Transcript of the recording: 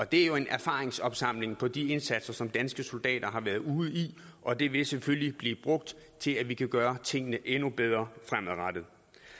det er jo en erfaringsopsamling på de indsatser som danske soldater har været ude i og det vil selvfølgelig blive brugt til at vi kan gøre tingene endnu bedre fremadrettet